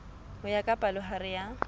ho ya ka palohare ya